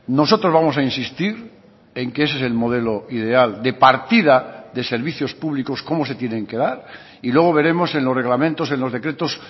nosotros vamos a insistir en que ese es el modelo ideal de partida de servicios públicos cómo se tienen que dar y luego veremos en los reglamentos en los decretos